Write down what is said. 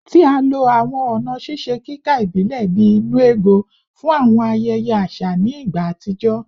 Ti a lo awọn ọna ṣiṣe kika ibilẹ bii “nnu ego” fun awọn ayẹyẹ aṣa ni igba atijọ